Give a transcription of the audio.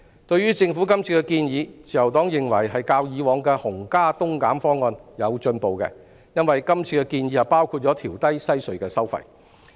對於政府今次的建議，自由黨認為是較以往的"紅加東減"方案有進步，因為今次建議內包括會調低西隧的收費。